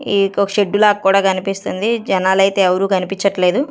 ఈకోక shed లాగా కూడా కనిపిస్తుంది జనాలైతే ఎవరూ కనిపించట్లేదు.